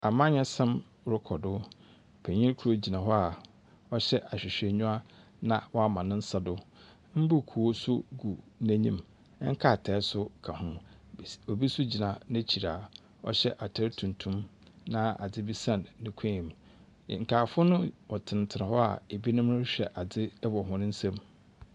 Amanyɛsɛm rokɔ do. Panyin kor gyina hɔ a ɔhyɛ ahwehwɛenyiwa na ɔama ne nsa do, mbuukuu so gu n’enyim, nkrataa so ka ho. Bis obi so gyina n’ekyir a ɔhyɛ atar tuntum na adze san ne kɔnmu. Nkaafo no wɔtsenatsena hɔ a binom rohwɛ adze wɔ hɔn nsamu.